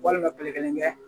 Walima kile kelen kɛ